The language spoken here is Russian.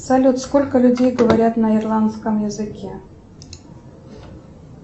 салют сколько людей говорят на ирландском языке